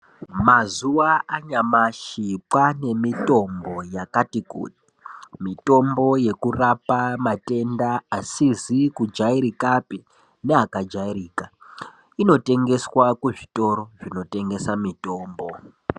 Mazuva anyamashi kwaane mitombo yakati kuti mitombo yekurapa matenda asizi kujairikapi neakajairika inotengeswa kuzvitoro zvinotengesa mitombo.